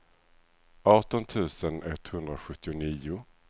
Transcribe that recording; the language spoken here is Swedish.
arton tusen etthundrasjuttionio